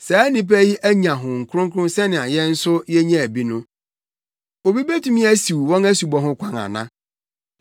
“Saa nnipa yi anya Honhom Kronkron sɛnea yɛn nso yenyaa bi no. Obi betumi asiw wɔn asubɔ ho kwan ana?”